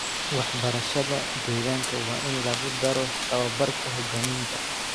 Waxbarashada deegaanka waa in lagu daro tababarka hoggaaminta.